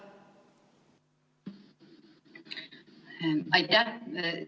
Aitäh!